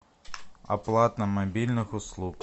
оплата мобильных услуг